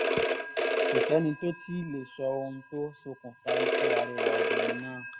kò sẹ́ni tó tì í lè sọ ohun tó ṣokùnfà ikú arẹwà obìnrin náà